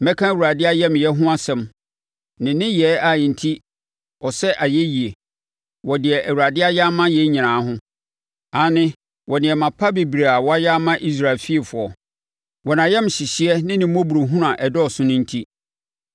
Mɛka Awurade ayamyɛ ho asɛm, ne nneyɛɛ a enti ɔsɛ ayɛyie, wɔ deɛ Awurade ayɛ ama yɛn nyinaa ho aane, wɔ nneɛma pa bebree a wayɛ ama Israel fiefoɔ, wɔ nʼayamhyehyeɛ ne ne mmɔborɔhunu a ɛdɔɔso no enti.